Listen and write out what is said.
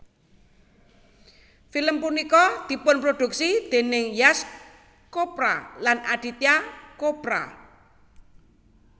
Film punika dipunproduksi dèning Yash Chopra lan Aditya Chopra